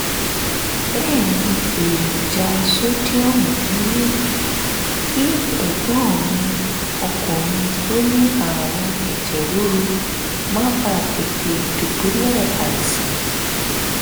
bẹ́ẹ̀ ní èròjà sódíọ̀mù nínú kí ẹ̀gbọ́n mi ọkùnrin tó ní àrùn ẹ̀jẹ̀ ríru má bàa tètè dùbúlẹ̀ àìsàn